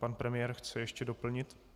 Pan premiér chce ještě doplnit.